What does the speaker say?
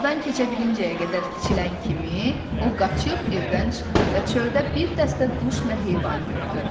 Qapıdan keçə bilinincəyə qədər kiçilən kimi o qaçıb evdən çıxdı və çöldə bir dəstə quş və heyvan gördü.